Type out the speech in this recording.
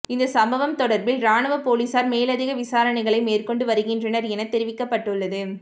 இந்த சம்பவம் தொடர்பில் இராணுவ பொலிஸார் மேலதிக விசாரணைகளை மேற்கொண்டு வருகின்றனர் எனத் தெரிவிக்கப்பட்டது